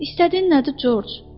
İstədiyin nədir George?